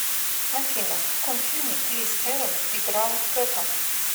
афина в каком фильме крис эванс играл кэпа